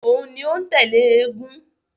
Òun ni ó ń tẹ̀lé eégún